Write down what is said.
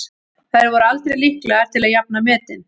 Þær voru aldrei líklegar til að jafna metin.